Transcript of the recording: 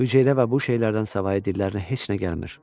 Hüceyrə və bu şeylərdən savayı dillərinə heç nə gəlmir.